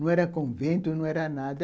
Não era convento, não era nada.